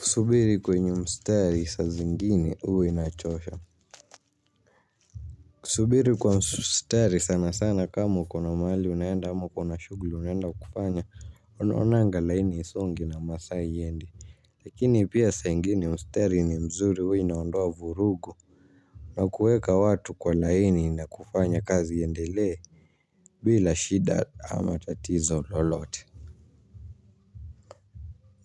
Kusubiri kwenye mstari sa zingine huwa inachosha. Kusubiri kwa mstari sana sana kama ukona mahali unaenda ama ukona shughuli unaenda kufanya unaonanga laini haisongi na masaa haiendi. Lakini pia saa ingine mstari ni mzuri huwa inaondoa vurugu. Na kuweka watu kwa laini na kufanya kazi iendelee bila shida ama tatizo lolote.